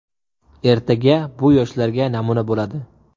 Ertaga bu yoshlarga namuna bo‘ladi”.